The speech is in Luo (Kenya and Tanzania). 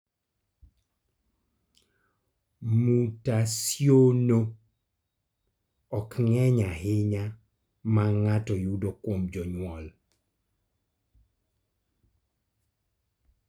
Mutasionno ok ng�eny ahinya ma ng�ato yudo kuom jonyuol.